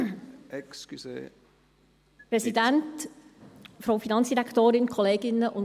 Kommissionssprecherin der FiKo-Minderheit.